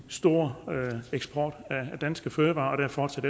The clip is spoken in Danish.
stor eksport af danske fødevarer og at der fortsat